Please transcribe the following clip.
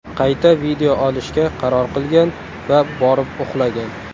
Qayta video olishga qaror qilgan va borib uxlagan.